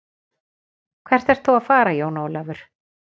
Hvert ert þú að fara Jón Ólafur.